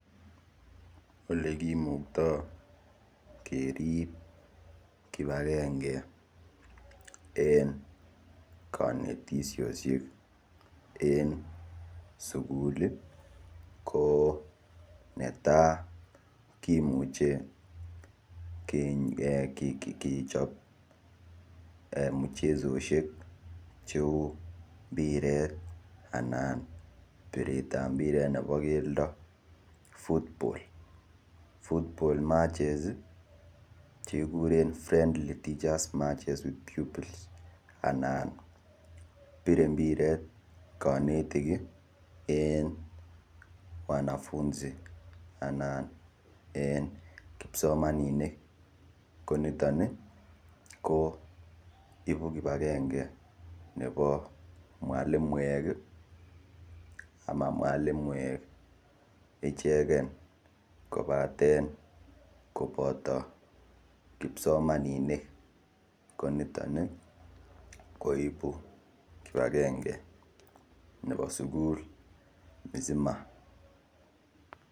Ole kimukto kerib kipagenge en konetisoshek en sugul ko netai: kimuche kechop muchesoshek cheu mbirit anan biret ba mbiret nebo keldo football. Football matches che kiguren friendly just matches with pupils anan bire mbiret konetik en wanafunzi anan en kipsomaninik ko niton ko ibu kipagenge nebo mwalimuek ama ma mwalimuek ichegen kobaten koboto kipsomaninik ko niton koibu kipagenge nebo sugul mzima